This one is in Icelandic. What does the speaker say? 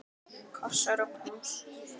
Kossar og knús.